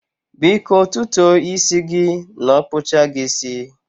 Biko tutuo isi gi n okpucha gi isi